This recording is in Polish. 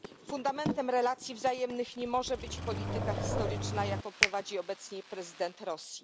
Fundamentem relacji wzajemnych nie może być polityka historyczna, jaką prowadzi obecnie prezydent Rosji.